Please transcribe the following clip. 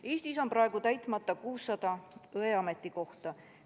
Eestis on praegu täitmata 600 õe ametikohta.